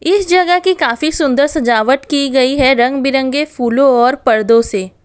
इस जगह की काफी सुंदर सजावट की गई है रंग बिरंगे फूलों और पर्दों से।